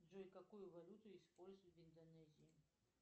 джой какую валюту используют в индонезии